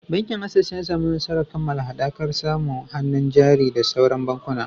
Bankin Access ya samu nasarar kammala haɗakar da samu hannun jari da sauran bankuna.